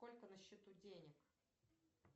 сколько на счету денег